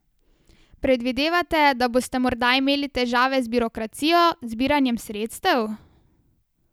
Predvidevate, da boste morda imeli težave z birokracijo, zbiranjem sredstev ...